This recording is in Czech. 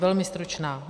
Velmi stručná.